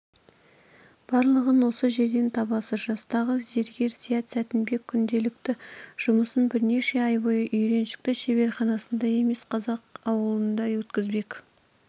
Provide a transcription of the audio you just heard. барлығын осы жерден табасыз жастағы зергер зият сәтінбек күнделікті жұмысын бірнеше ай бойы үйреншікті шеберханасында емес қазақ ауылында өткізбек